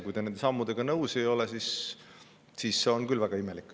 Kui te nende sammudega nõus ei ole, siis see on küll väga imelik.